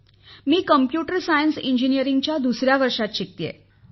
मी संगणक शास्त्र अभियांत्रिकी अभ्यासक्रमात दुसऱ्या वर्षात शिकते आहे